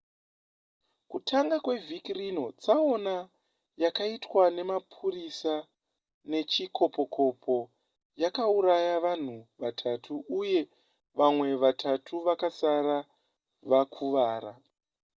kutanga kwevhiki rino tsaona yakaitwa nemapurisa nechikopokopo yakauraya vanhu vatatu uye vamwe vatatu vakasara vakuvara